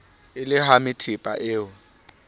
e le hamethepa o e